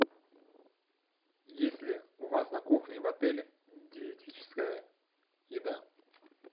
есть ли у вас на кухне в отеле диетическая еда